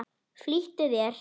Flýttu þér.